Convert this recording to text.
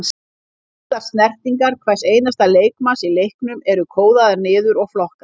Allar snertingar hvers einasta leikmanns í leiknum eru kóðaðar niður og flokkaðar.